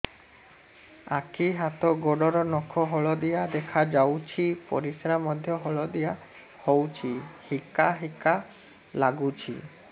ଆଖି ହାତ ଗୋଡ଼ର ନଖ ହଳଦିଆ ଦେଖା ଯାଉଛି ପରିସ୍ରା ମଧ୍ୟ ହଳଦିଆ ହଉଛି ହିକା ହିକା ଲାଗୁଛି